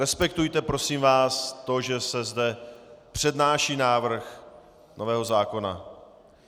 Respektujte, prosím vás, to, že se zde přednáší návrh nového zákona.